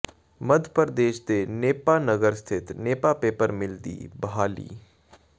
ਮੱਧ ਪ੍ਰਦੇਸ਼ ਦੇ ਨੇਪਾ ਨਗਰ ਸਥਿਤ Nepa paper mill ਦੀ ਬਹਾਲੀ